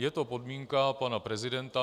Je to podmínka pana prezidenta.